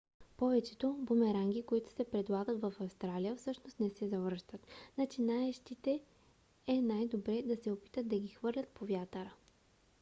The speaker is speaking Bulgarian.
повечето бумеранги които се предлагат в австралия всъщност не се завръщат. начинаещите е най-добре да не се опитват да ги хвърлят по вятъра